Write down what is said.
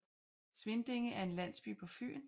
Svindinge er en landsby på Fyn med